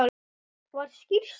Var skýrsla